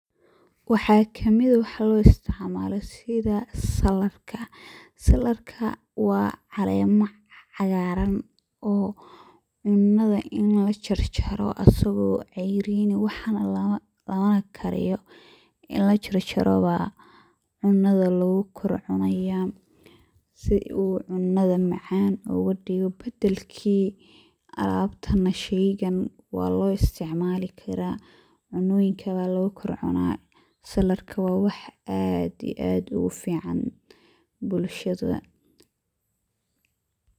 Waxa kamid ah waxa loisticmsl sida saladka, saladka wa calemo cagaran oo cunada ini lojarjaro asago ceyrin ah lamana kariyo inii lajarjaro ba cunada lugukorcunaya sii uu cunada macan ogadigo. Badalki sheygan waloisticmali kara cunoyinka aya lugukorcuna saladka wa wax aad iyo aad ufican bulshada.